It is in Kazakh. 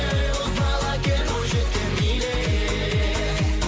ей боз бала кел бойжеткен биле